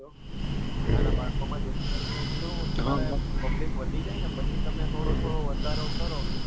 નાના બાળકો માં જે એટલે શું કે public વધી જાય ને પછી તમે થોડો થોડો વધારો કરો